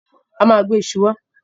A ma gbe iṣu wá